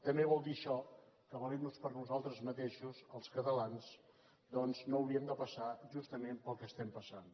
també vol dir això que valent nos per nosaltres mateixos els catalans doncs no hauríem de passar justament pel que passem